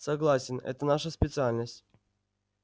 согласен это наша специальность